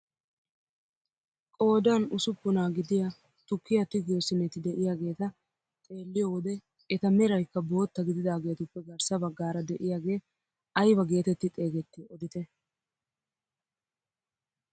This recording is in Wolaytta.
Qoodan usuppunaa gidiyaa tukkiyaa tigiyoo siineti de'iyaageta xeelliyoo wode eta merayikka bootta gididaagetuppe garssa baggaara de'iyaagee ayba getetti xeegettii odite?